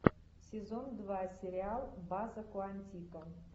сезон два сериал база куантико